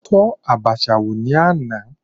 Mo tọ́ Abacha wò ní àná.